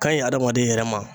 Ka ɲi hadamaden yɛrɛ ma